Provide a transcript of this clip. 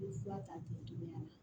I bɛ fura ta k'i togoya la